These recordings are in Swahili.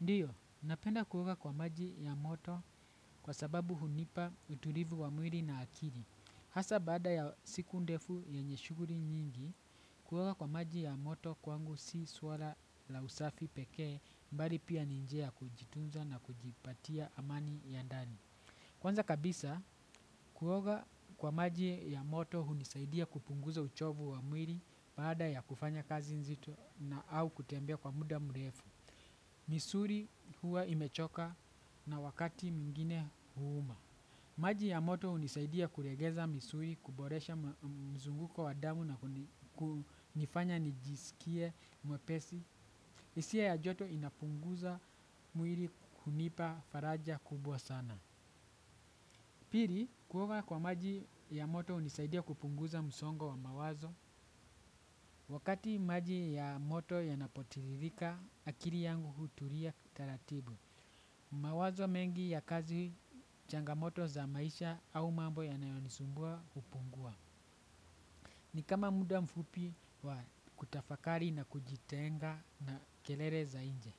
Ndiyo, napenda kuoga kwa maji ya moto kwa sababu hunipa uturivu wa mwiri na akiri. Hasa baada ya siku ndefu yenye shuguri nyingi, kuoga kwa maji ya moto kwangu si swala la usafi pekee mbali pia ni njia ya kujitunza na kujipatia amani ya ndani. Kwanza kabisa, kuoga kwa maji ya moto hunisaidia kupunguza uchovu wa mwili baada ya kufanya kazi nzito na au kutembea kwa muda mrefu. Misuri huwa imechoka na wakati mwingine huuma. Maji ya moto hunisaidia kuregeza misuli kuboresha mzunguko wadamu na kunifanya nijisikie mwepesi. Hisia ya joto inapunguza mwiri kunipa faraja kubwa sana. Pili kuoga kwa maji ya moto hunisaidia kupunguza msongo wa mawazo. Wakati maji ya moto yanapotiririka, akiri yangu huturia taratibu. Mawazo mengi ya kazi changamoto za maisha au mambo yanayo nisumbua hupungua. Ni kama muda mfupi wa kutafakari na kujitenga na kelele za nje.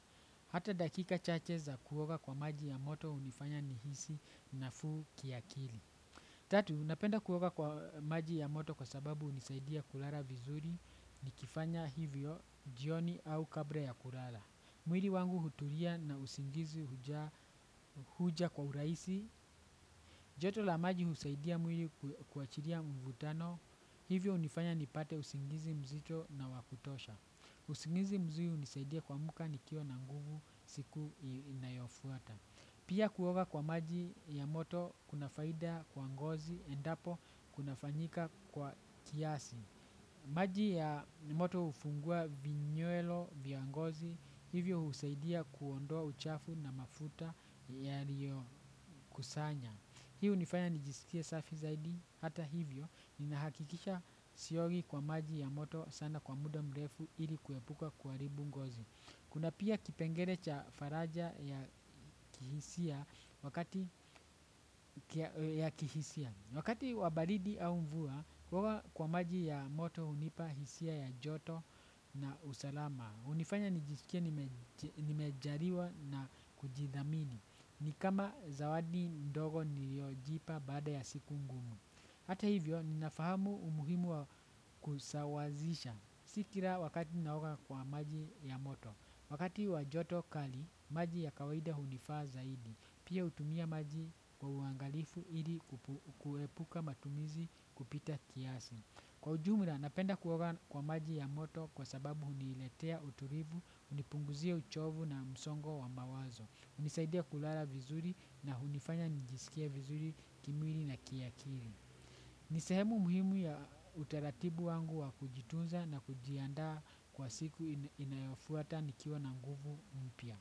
Hata dakika chache za kuoga kwa maji ya moto hunifanya ni hisi na fuu kiakili. Tatu, napenda kuoga kwa maji ya moto kwa sababu hunisaidia kulala vizuri ni kifanya hivyo jioni au kabra ya kulala. Mwili wangu hutulia na usingizi huja kwa urahisi. Joto la maji husaidia mwili kuachiria mvutano. Hivyo hunifanya nipate usingizi mzito na wakutosha. Usingizi mzuri hunisaidia kuamka nikiwa na nguvu siku inayo fuata. Pia kuoga kwa maji ya moto kuna faida kwa ngozi endapo kuna fanyika kwa kiasi. Maji ya moto hufungua vinywelo vya ngozi, hivyo husaidia kuondoa uchafu na mafuta ya rio kusanya. Hii hunifanya nijiskie safi zaidi hata hivyo nina hakikisha siogi kwa maji ya moto sana kwa muda mrefu ili kuepuka kuharibu ngozi. Kuna pia kipengelee cha faraja ya kihisia wakati wabaridi au mvua kuoga kwa maji ya moto hunipa hisia ya joto na usalama hunifanya nijisikie nimejariwa na kujidhamini ni kama zawadi ndogo niliojipa baada ya siku ngumu. Hata hivyo ninafahamu umuhimu wa kusawazisha sikira wakati ninaoga kwa maji ya moto. Wakati wa joto kali, maji ya kawaida hunifa zaidi. Pia hutumia maji kwa uangalifu hili kuepuka matumizi kupita kiasi. Kwa ujumla, napenda kuoga kwa maji ya moto kwa sababu huniletea uturivu, hunipunguzia uchovu na msongo wa mawazo. Hunisaidia kulala vizuri na hunifanya njisikie vizuri kimwili na kiakiri. Ni sehemu muhimu ya utaratibu wangu wa kujitunza na kujiandaa kwa siku inayofuata nikiwa na nguvu mpya.